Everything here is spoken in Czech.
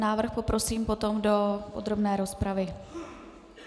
Návrh poprosím potom do podrobné rozpravy.